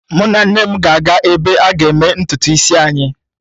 Mụ na nne m ga-aga ebe a ga eme ntutu isi anyị.